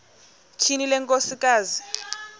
tyhini le nkosikazi